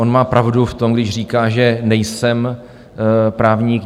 On má pravdu v tom, když říká, že nejsem právník.